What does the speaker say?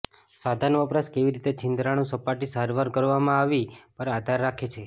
સાધન વપરાશ કેવી રીતે છિદ્રાળુ સપાટી સારવાર કરવામાં આવી પર આધાર રાખે છે